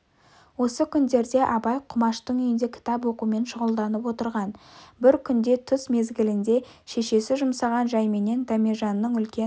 осы күндерде абай құмаштың үйінде кітап оқумен шұғылданып отырған бір күнде түс мезгілінде шешесі жұмсаған жайменен дәмежанның үлкен